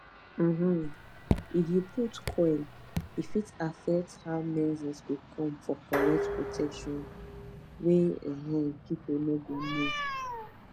um if u put coil e fit affect how menses go come for correct protection wey um people no go know